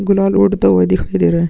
गुलाल उड़ता हुआ दिखाई दे रहा है।